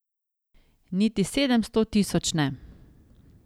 Niti sedemsto tisoč ne.